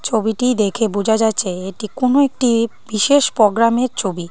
ছবিটি দেখে বোঝা যাচ্ছে এটি কোনো একটি বিশেষ প্রোগ্রামের ছবি।